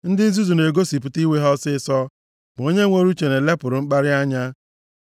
Ndị nzuzu na-egosipụta iwe ha ọsịịsọ, ma onye nwere uche na-elepụrụ mkparị anya.